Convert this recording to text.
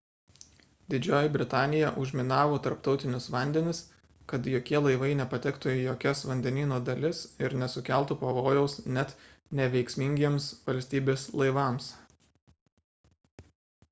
didžioji britanija užminavo tarptautinius vandenis kad jokie laivai nepatektų į jokias vandenyno dalis ir nesukeltų pavojaus net neveiksmingiems valstybės laivams